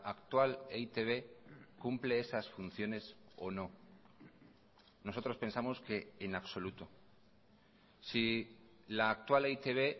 actual e i te be cumple esas funciones o no nosotros pensamos que en absoluto si la actual e i te be